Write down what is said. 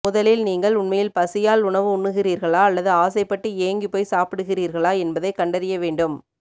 முதலில் நீங்கள் உண்மையில் பசியால் உணவு உண்ணுகிறீர்களா அல்லது ஆசை பட்டு ஏங்கி போய் சாப்பிடுகிறீர்களா என்பதை கண்டறியவேண்டும்